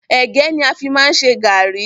Ẹ̀gẹ́ ni a fi máa ń ṣe garri